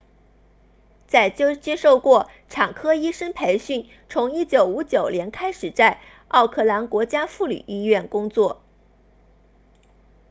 他接受过产科医生培训从1959年开始在奥克兰国家妇女医院工作